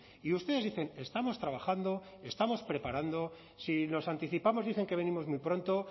y ustedes dicen estamos trabajando estamos preparando si nos anticipamos dicen que venimos muy pronto